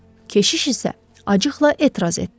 Keşiş isə acıqla etiraz etdi.